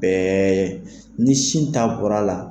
Bɛɛ ye ni sin ta bɔra a la.